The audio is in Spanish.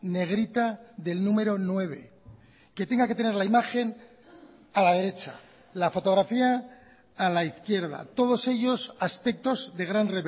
negrita del número nueve que tenga que tener la imagen a la derecha la fotografía a la izquierda todos ellos aspectos de gran